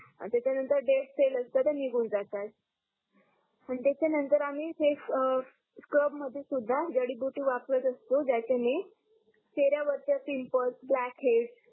आणि त्याच्या नंतर डेडसेल असतात त्या निगुण जातात आणि त्याच्या नंतर आम्ही फेस स्क्रब मध्ये सुद्धा जडी बुटी वापरत असतो ज्याच्या णे चेहऱ्या वरच्या पिंपल्स ब्लॅकेट